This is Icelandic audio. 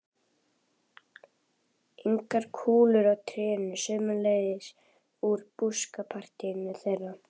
Englar og kúlur á trénu, sömuleiðis úr búskapartíð þeirra.